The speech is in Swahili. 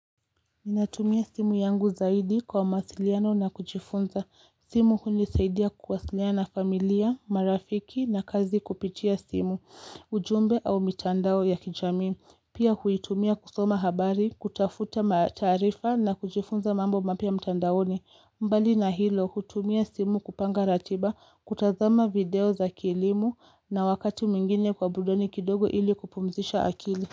Ninatumia simu yangu zaidi kwa mawasiliano na kujifunza. Simu hunisaidia kuwasiliana na familia, marafiki na kazi kupitia simu, ujumbe au mitandao ya kijamii. Pia huitumia kusoma habari, kutafuta mataarifa na kujifunza mambo mapya mtandaoni. Mbali na hilo, hutumia simu kupanga ratiba, kutazama video za kilimo na wakati mwingine kwa burudani kidogo ili kupumzisha akili.